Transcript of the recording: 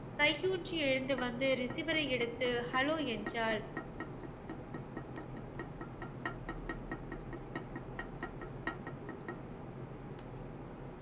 கை ஊன்றி எழுந்து வந்து recevier ஐ எடுத்து hello என்றாள்